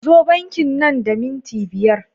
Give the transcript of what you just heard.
Zo banki nan da minti biyar!